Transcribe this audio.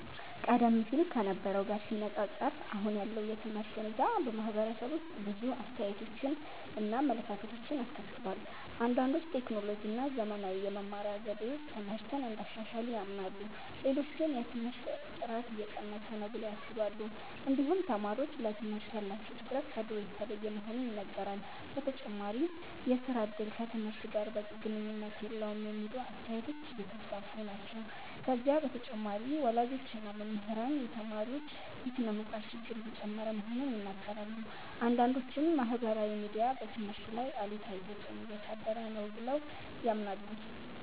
ቀደም ሲል ከነበረው ጋር ሲነፃፀር አሁን ያለው የትምህርት ሁኔታ በማህበረሰቡ ውስጥ ብዙ አስተያየቶችን እና አመለካከቶችን አስከትሏል። አንዳንዶች ቴክኖሎጂ እና ዘመናዊ የመማሪያ ዘዴዎች ትምህርትን እንዳሻሻሉ ያምናሉ። ሌሎች ግን የትምህርት ጥራት እየቀነሰ ነው ብለው ያስባሉ። እንዲሁም ተማሪዎች ለትምህርት ያላቸው ትኩረት ከድሮ የተለየ መሆኑ ይነገራል። በተጨማሪም የሥራ እድል ከትምህርት ጋር በቂ ግንኙነት የለውም የሚሉ አስተያየቶች እየተስፋፉ ናቸው። ከዚህ በተጨማሪ ወላጆች እና መምህራን የተማሪዎች የስነ-ምግባር ችግር እየጨመረ መሆኑን ይናገራሉ። አንዳንዶችም ማህበራዊ ሚዲያ በትምህርት ላይ አሉታዊ ተፅዕኖ እያሳደረ ነው ብለው ያምናሉ።